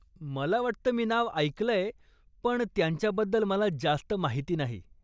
मला वाटतं मी नाव ऐकलंय, पण त्यांच्याबद्दल मला जास्त माहिती नाही.